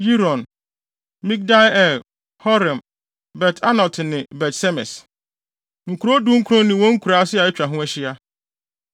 Yiron, Midgal-el, Horem, Bet-Anat ne Bet-Semes. Nkurow dunkron ne wɔn nkuraase a atwa ho ahyia.